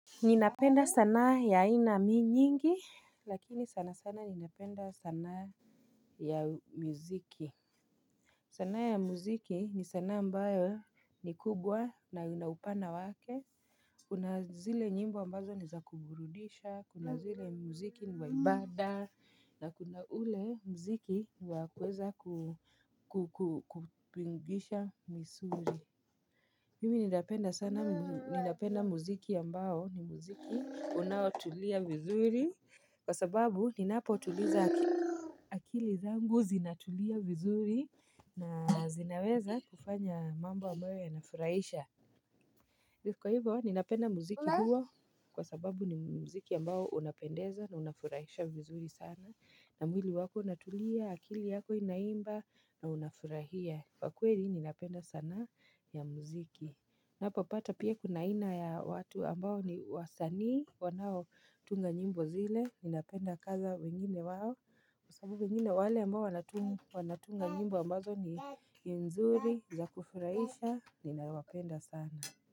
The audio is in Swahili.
Ninapenda sanaa ya ina mi nyingi Lakini sana sana ninapenda sana ya muziki sanaa ya muziki ni sanaa ambayo ni kubwa na inaupana wake Kuna zile nyimbo ambazo ni za kuburudisha, kuna zile muziki ni wa ibada, na kuna ule muziki wa kuweza Kupingisha misuri mimi ninapenda sana, ninapenda muziki yambao, ni muziki unaotulia vizuri, kwa sababu ninapotuliza akili zangu zinatulia vizuri na zinaweza kufanya mambo ambayo yanafuraisha. Kwa hivyo, ninapenda muziki huo kwa sababu ni muziki ambao unapendeza na unafurahisha vizuri sana. Na mwili wako, natulia, akili yako, inaimba na unafurahia. Kwa kweli, ninapenda sanaa ya muziki. Napopata pia kuna ina ya watu ambao ni wasani, wanao tunga nyimbo zile, ninapenda kaza wengine wawo. Kwa sababu wengine wale ambao wanatunga nyimbo ambazo ni nzuri, za kufurahisha, ninawapenda sana.